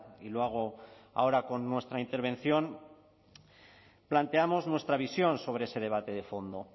y lo hago ahora con nuestra intervención planteamos nuestra visión sobre ese debate de fondo